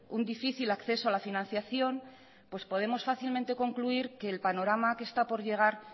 un difícil acceso a la financiación pues podemos fácilmente concluir que el panorama que está por llegar